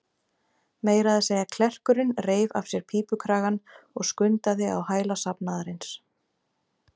Meira að segja klerkurinn reif af sér pípukragann og skundaði á hæla safnaðarins.